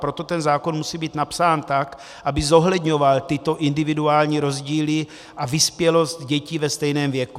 Proto ten zákon musí být napsán tak, aby zohledňoval tyto individuální rozdíly a vyspělost dětí ve stejném věku.